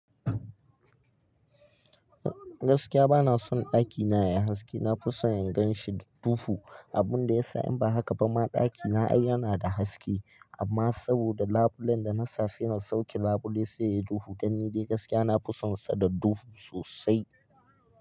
Gaskiya bana son ɗakina yayi haske, nafison ingan shi da duhu. Abun da ya sa in ba haka ba ma ɗakina yana da haske. Amma saboda labulen da na sa suna sauke labule sai yayi duhu, dan ni dai gaskiya nafison sa da duhu sosai.